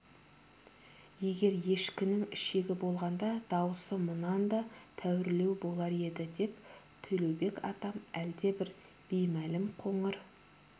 егер ешкінің ішегі болғанда даусы мұнан да тәуірлеу болар еді деп төлеубек атам әлдебір беймәлім қоңыр